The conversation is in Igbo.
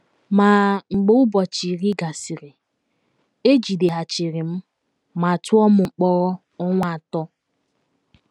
Ma, mgbe ụbọchị iri gasịrị, e jideghachiri m ma tụọ m mkpọrọ ọnwa atọ.